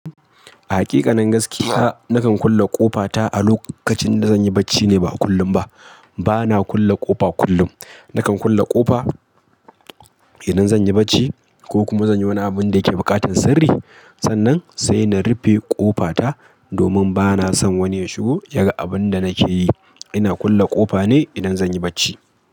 A hakikan gaskiya, nakan kulle ƙofa ta a lokacin da zanyi bacci ne ba kullum ba. Bana kulle ƙofa kullum. Nakan kulle ƙofa idan zanyi bacci ko kuma zanyi wani abun da yake buƙatan sirri. Sannan sai na rufe ƙofa ta domin bana son wani ya shigo ya ga abun da nake yi. Ina kulle ƙofa ne idan zanyi barci.